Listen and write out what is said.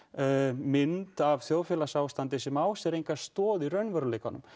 mynd af þjóðfélagsásandi sem á sér enga stoð í raunveruleikanum